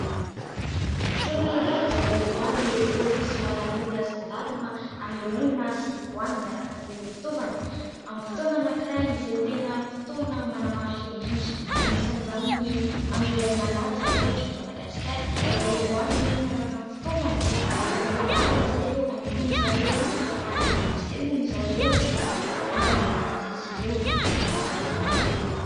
Fotoana iray izay ivoahan'ireo : paolisy, maramila, zandarima ; anehoana sy ivohany miaraka amin'ireo fitaovany ; amin'ny fotoana anakiray izay tena fotoana manamarika indrindra. Anisan'izany ny andro iray malaza ohatra eto Madagaskara izay ivoahan' ireo miaraka amin'ny fitaovany ary ilaharin'ny zareo, anehoana zareo, ary ampisehony zareo ny maha malagasy azy ireo eto amin'ny tanindrazana eto.